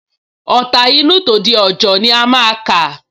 Ọ̀ta inú, tòde òjọ ni a máa kà